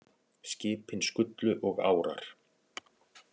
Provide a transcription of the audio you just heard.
Skipin skullu og árar